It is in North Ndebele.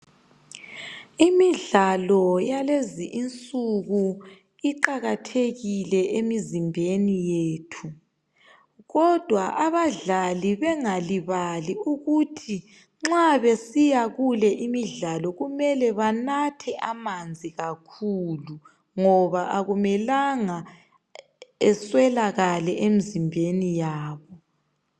Imidlalo yakulezi insuku iqakathekile emizimbeni yethu kodwa abadlali bengalibali ukuthi nxa besiya kule imidlalo benathe amanzi kakhulu ngoba akumelenga eswalakale emzimbeni yabo